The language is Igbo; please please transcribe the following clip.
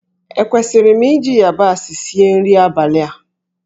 Ekwesịrị m iji yabasị sie nri abalị a?